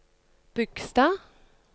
Bygstad